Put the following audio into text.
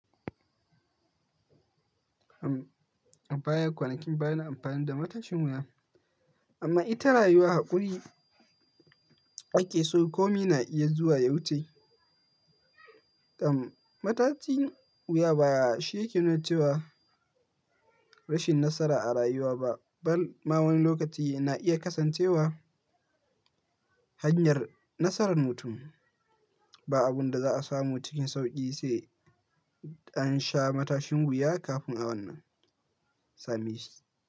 A baya kwanakin baya ina amfani da matashin wuya, amma ita rayuwa haƙuri ake so komi na iya zuwa ya wuce. Ɗan matashin wuya ba shi yake nuna cewa rashin nasara a rayuwa ba, ba ma wani lokaci na iya kasancewa hanyar nasarar mutum. Ba abun da za a samu cikin sauƙi sai an sha matashin wuya kafin a wannan. Sami shi.